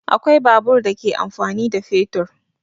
Akwai babur da ke amfani da fetur.